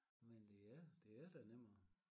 Men det er det er da nemmere